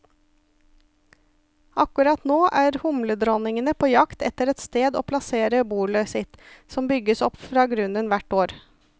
Akkurat nå er humledronningene på jakt etter et sted å plassere bolet sitt, som bygges opp fra grunnen hvert år.